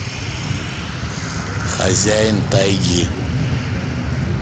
хозяин тайги